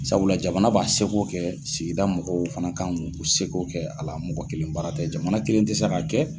Sabula jamana b'a seko kɛ sigida mɔgɔw fana kan k'u seko kɛ a la mɔgɔ kelen baara tɛ jamana kelen tɛ se k'a kɛ.